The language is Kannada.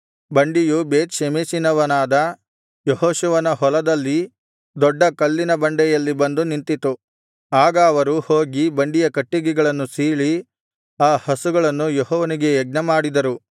ಬಂಡಿಯು ಬೇತ್ ಷೆಮೆಷಿನವನಾದ ಯೆಹೋಶುವನ ಹೊಲದಲ್ಲಿದ್ದ ದೊಡ್ಡ ಕಲ್ಲಿನ ಬಳಿಯಲ್ಲಿ ಬಂದು ನಿಂತಿತು ಆಗ ಅವರು ಹೋಗಿ ಬಂಡಿಯ ಕಟ್ಟಿಗೆಗಳನ್ನು ಸೀಳಿ ಆ ಹಸುಗಳನ್ನು ಯೆಹೋವನಿಗೆ ಯಜ್ಞಮಾಡಿದರು